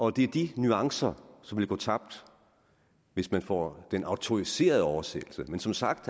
er de nuancer som vil gå tabt hvis man får den autoriserede oversættelse men som sagt